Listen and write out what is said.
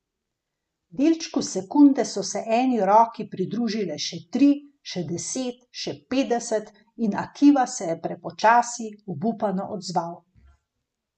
V delčku sekunde so se eni roki pridružile še tri, še deset, še petdeset, in Akiva se je prepočasi, obupano odzval.